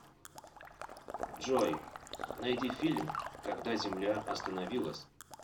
джой найди фильм когда земля остановилась